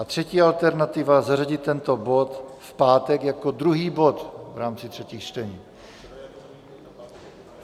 A třetí alternativa - zařadit tento bod v pátek jako druhý bod v rámci třetích čtení.